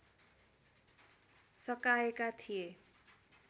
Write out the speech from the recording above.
सकाएका थिए